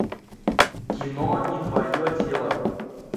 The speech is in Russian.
кино не твое тело